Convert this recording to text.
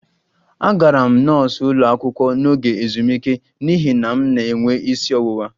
Agara m nọọsụ ụlọ akwụkwọ n'oge ezumike n'ihi na m na-enwe isi ọwụwa